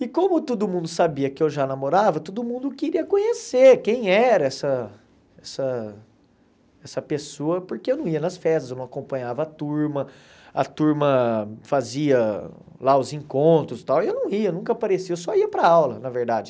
E como todo mundo sabia que eu já namorava, todo mundo queria conhecer quem era essa essa essa pessoa, porque eu não ia nas festas, eu não acompanhava a turma, a turma fazia lá os encontros e tal, e eu não ia, nunca aparecia, eu só ia para aula, na verdade.